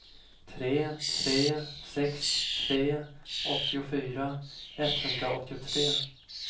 tre tre sex tre åttiofyra etthundraåttiotre